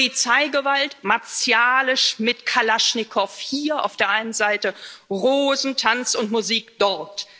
Polizeigewalt, martialisch mit Kalaschnikows hier auf der einen Seite, Rosen, Tanz und Musik dort.